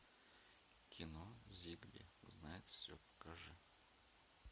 кино зигби знает все покажи